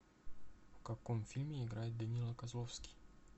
в каком фильме играет данила козловский